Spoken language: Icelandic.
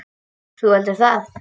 Þú heldur það?